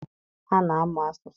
A na-amụ asụsụ.